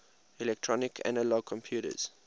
electronic analog computers